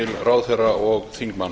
ráðherra og þingmanna